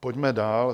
Pojďme dál.